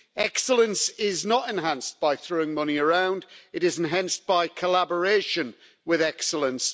Excellence is not enhanced by throwing money around, it is enhanced by collaboration with excellence.